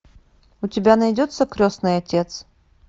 у тебя найдется крестный отец